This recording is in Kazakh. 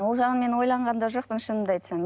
ол жағын мен ойланған да жоқпын шынымды айтсам